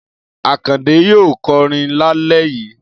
Akande yóò kọrin lálẹ́ yìí.